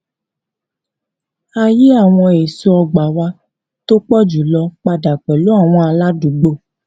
a yí àwọn eso ọgbà wa tó pọ jù lọ padà pẹlu àwọn aládùúgbò